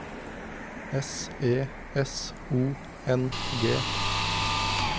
S E S O N G